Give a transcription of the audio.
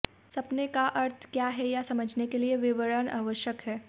सपने का अर्थ क्या है यह समझने के लिए विवरण आवश्यक हैं